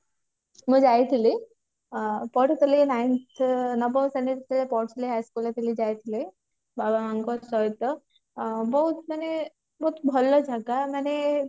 ମୁଁ ଯାଇଥିଲି ଆଁ ପଢୁଥିଲି nine ନବମ ଶ୍ରେଣୀରେ ଯେତେବେଳେ ପଢୁଥିଲି high school ରେ ଥିଲି ଯାଇଥିଲି ବାବା ମାଙ୍କ ସହିତ ଆଁ ବହୁତ ମାନେ ବହୁତ ଭଲ ଜାଗା ମାନେ